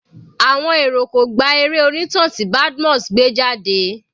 Àwọn èrò kò gba eré onítàn tí Badmus gbé jáde.